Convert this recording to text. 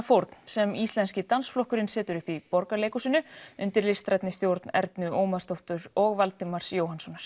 fórn sem Íslenski dansflokkurinn setur upp í Borgarleikhúsinu undir listrænni stjórn Ernu Ómarsdóttur og Valdimars Jóhannssonar